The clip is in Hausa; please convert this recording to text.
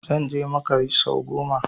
Zan je makka sau goma